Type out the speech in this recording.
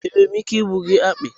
Enwere m ike igbu gị akpị?